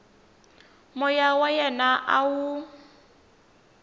moya wa yena a wu